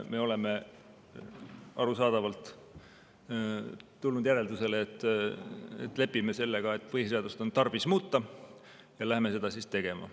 Me oleme arusaadavalt jõudnud järeldusele, et lepime sellega, et põhiseadust on tarvis muuta, ja hakkame seda tegema.